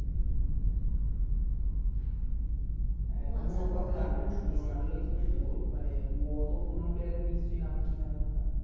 তুমি ওর কথা জানবে না তুমি রোনালদোই শুনেছ ও মানে অত পুরানো এর নিশ্চয় নাম তুমি জানোও না